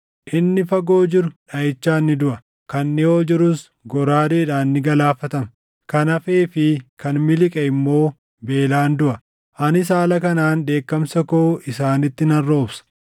Inni fagoo jiru dhaʼichaan ni duʼa; kan dhiʼoo jirus goraadeedhaan ni galaafatama; kan hafee fi kan miliqe immoo beelaan duʼa. Anis haala kanaan dheekkamsa koo isaanitti nan roobsa.